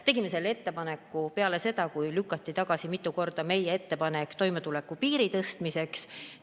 Tegime selle ettepaneku peale seda, kui mitu korda oli lükatud tagasi meie ettepanek toimetulekupiiri tõstmiseks.